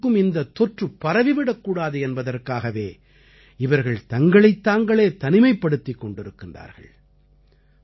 மற்றவர்களுக்கும் இந்தத் தொற்று பரவி விடக்கூடாது என்பதற்காகவே இவர்கள் தங்களைத் தாங்களே தனிமைப்படுத்திக் கொண்டிருக்கிறார்கள்